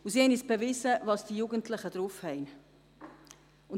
Sie haben bewiesen, was die Jugendlichen draufhaben.